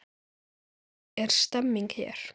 Er stemming hér?